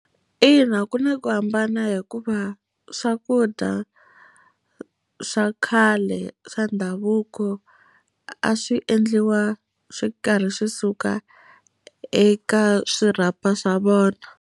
Ina ku na ku hambana hikuva swakudya swa khale swa ndhavuko, a swi endliwa swi karhi swi suka eka swirhapa swa vona.